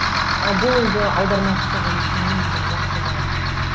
ы бұл енді аудармашы жұмысының бір жақсы жағы